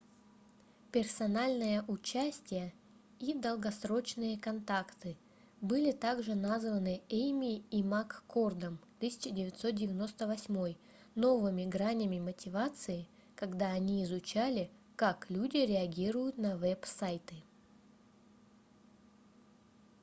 "персональное участие и долгосрочные контакты были также названы эймми и маккордом 1998 новыми гранями мотивации когда они изучали как люди реагируют на веб-сайты